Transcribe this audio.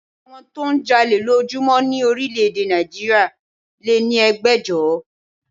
Àwọn tó ń jalè lójúmọ́ ni orílẹ̀ èdè Nàìjíríà lé ní ẹgbẹ̀jọ